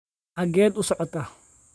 xageed u socotaa